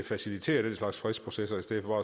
facilitere den slags fredsprocesser i stedet for